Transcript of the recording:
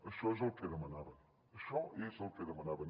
això és el que demanaven això és el que demanaven